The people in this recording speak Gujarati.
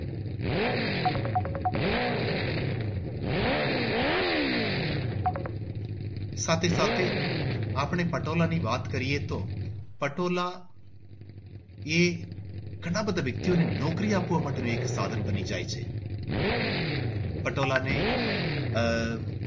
સાથે સાથે આપણે પટોળા ની વાત કરીએ તો પટોળા એ ઘણા બધા વ્યક્તિઓને નૌકરી આપવાનું સાધન બની જાય છે. પટોળા ને આહ